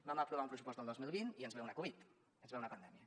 vam aprovar un pressupost del dos mil vint i ens ve una covid ens ve una pandèmia